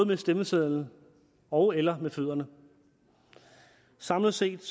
med stemmesedlen ogeller med fødderne samlet set